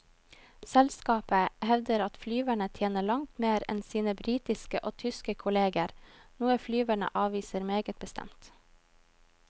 Selskapet hevder at flyverne tjener langt mer enn sine britiske og tyske kolleger, noe flyverne avviser meget bestemt.